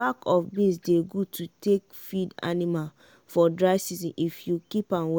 bak of beans dey gud to take feed anima for dry season if you keep am well.